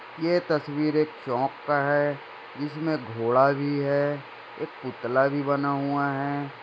यह तस्वीर एक चौक का हैं जीसमें घोडा भी हैं एक पुतला भी बना हुआ हैं।